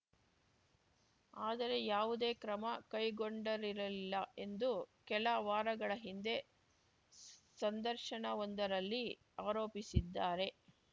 ಆದರೆ ಯಾವುದೇ ಕ್ರಮ ಕೈಗೊಂಡರಿರಲಿಲ್ಲ ಎಂದು ಕೆಲ ವಾರಗಳ ಹಿಂದೆ ಸಂದರ್ಶನವೊಂದರಲ್ಲಿ ಆರೋಪಿಸಿದ್ದಾರೆ